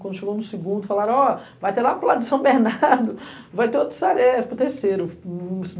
Quando chegou no segundo, falaram, ó, vai ter lá para o lado de São Bernardo, vai ter outro Saresco, terceiro.